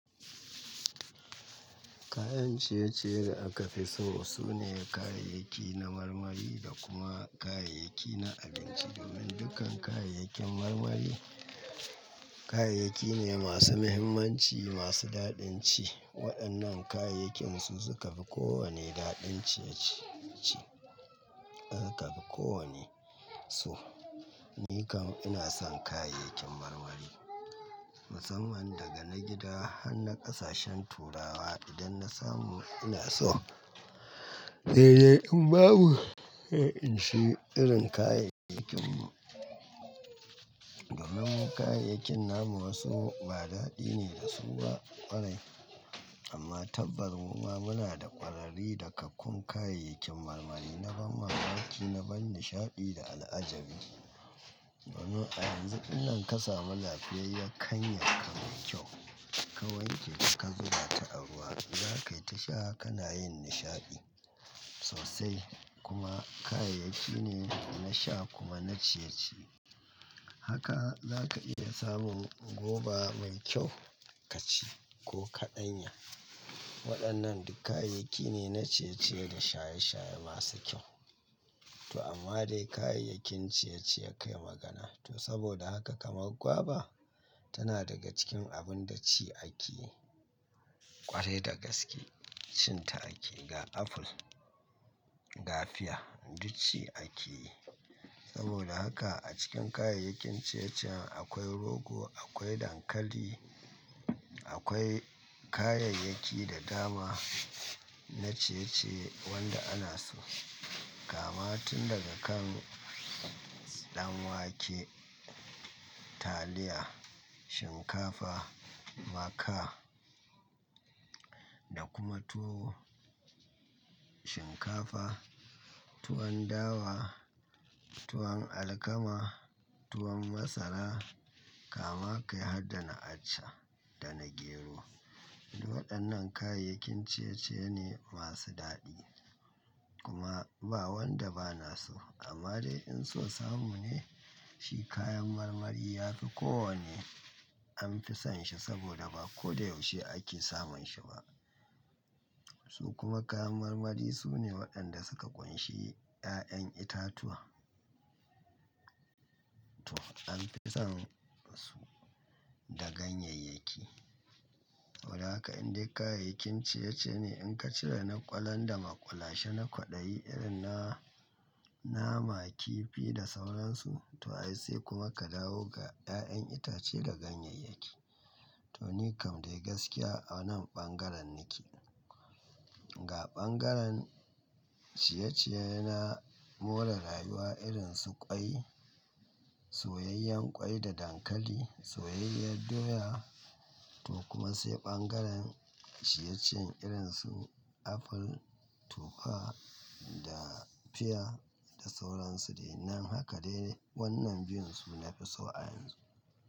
Kayan ciye-ciye da aka fi so sune kayayyaki na marmari da kuma kayayyaki na abinci. Domin dukkan kayayyakin marmari, kayayyaki ne masu muhimmanci, masu daɗin ci. Waɗannan kayayyakin su suka fi kowane daɗin ciye-ciye ci. Suka fi kowane so. Ni kam ina son kayayyakin marmari musamman daga na gida har na ƙasashen turawa idan na samu ina so. Sai dai in babu, in sha irin kayayyakin. Domin kayayyakin namu wasu ba daɗi ne da su ba ƙwarai. Amma tabbas mu ma muna da ƙwarari da kakkun kayayyakin marmari na ban mamaki, na ban nishaɗi da al'ajabi. Domin a yanzu idan ka samu lafiyar, kan ya ka mai kyau, ka wanke ka zuba ta a ruwa, za ka yi ta sha kana yin nishaɗi sosai. Kuma kayayyaki ne na sha kuma na ciye-ciye. Haka za ka iya samun goba mai kyau ka ci ko ka ɗanya. Waɗannan duk kayayyaki ne na ciye-ciye da shaye-shaye masu kyau. To amma dai kayayyakin ciye-ciye kai magana. To saboda haka kamar guava tana daga cikin abun da ci ake yi ƙwarai da gaske. Cin ta ake yi. Ga aful, ga fiya duk ci ake yi. Saboda haka a cikin kayayyakin ciye-ciye akwai rogo, akwai dankali, akwai kayayyaki da dama na ciye-ciye wanda ana so. Kama tun daga kan ɗan wake, taliya, shinkafa, maka da kuma tuwo. Shinkafa, tuwon dawa, tuwon alkama, tuwon masara kama kai har dana acca da na gero. Waɗannan kayayyakin ciye-ciye ne masu daɗi. Kuma ba wanda ba na so. Amma dai in sosamu ne shi kayan marmari ya fi kowane an fi son shi saboda ba ko da yaushe ake samun shi ba. Su kuma kayan marmari su ne waɗanda suka ƙunshi ƴaƴan itatuwa. To an fi son su da ganyayyaki. Saboda haka indai kayayyakin ciye-ciye ne in ka cire na ƙwalon da ma ƙwalashe na kwaɗayi irin na nama, kifi da sauransu. To ai sai kuma ka dawo ga ƴaƴan itace da ganyayyaki. To ni kam dai gaskiya a wannan ɓangaren nake. Ga ɓangaren ciye-ciye na more rayuwa irin su ƙwai, soyayyen ƙwai da dankali, soyayyar doya to kuma sai ɓangaren ciye-ciye irin su aful, tufa da fiya da sauransu. Dai nan haka dai wannan biyun su nafi so a yanzu.